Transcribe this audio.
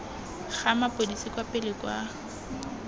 ga mapodisi kwa pele kwa